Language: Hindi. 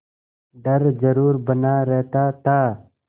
डर जरुर बना रहता था